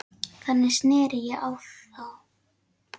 Þannig sneri ég á þá.